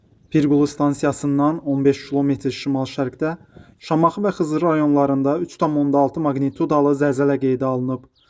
Pirqulu stansiyasından 15 km şimal-şərqdə Şamaxı və Xızı rayonlarında 3,6 maqnitudalı zəlzələ qeydə alınıb.